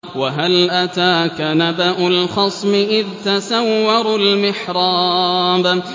۞ وَهَلْ أَتَاكَ نَبَأُ الْخَصْمِ إِذْ تَسَوَّرُوا الْمِحْرَابَ